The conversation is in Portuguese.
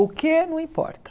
O que não importa.